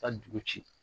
Ka dugu ci